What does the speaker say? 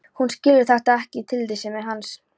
Hún skilur ekki þetta tillitsleysi hans.